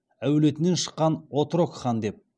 әулетінен шыққан отрок хан деп